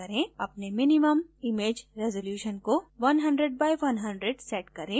अपने minimum image resolution को 100 x 100 setup करें